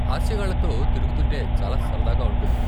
హాస్యగాళ్ళతో తిరుగుతుంటే చాలా సరదాగా ఉంటుంది.